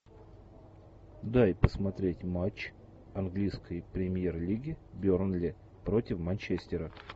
дай посмотреть матч английской премьер лиги бернли против манчестера